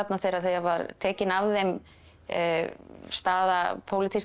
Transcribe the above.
þegar það var tekin af þeim staða pólitískra